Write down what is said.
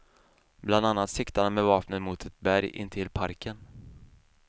Bland annat siktade han med vapnet mot ett berg intill parken.